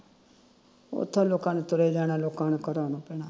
ਉਥੋੰ ਲੋਕਾਂ ਨੂੰ ਤੁਰੇ ਜਾਣਾ ਲੋਕਾਂ ਨੂੰ ਕਢਾਉਣਾ ਪੈਣਾ